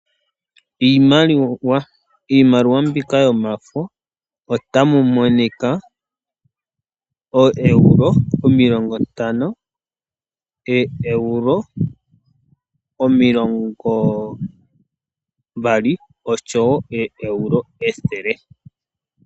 Iimaliwa, iimaliwa mbika yomafo ota mu monika oEuro omilongo ntano, oEuro omilongo mbali, oshowo oo Euro ethele.